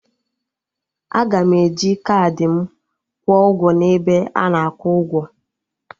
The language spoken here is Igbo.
Aga m eji kaadị m kwuo ụgwọ n'ebe ana akwụ ụgwọ